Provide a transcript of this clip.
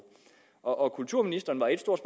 og kulturministeren var ét stort